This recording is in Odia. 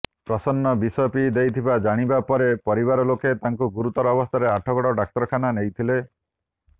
ପ୍ରସନ୍ନ ବିଷ ପିଇ ଦେଇଥିବା ଜଣାପରିବା ପରେ ପରିବାର ଲୋକେ ତାଙ୍କୁ ଗୁରୁତର ଅବସ୍ଥାରେ ଆଠଗଡ଼ ଡାକ୍ତରଖାନା ନେଇଥିଲେ